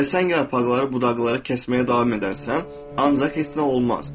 Və sən yarpaqları, budaqları kəsməyə davam edərsən, ancaq heç nə olmaz.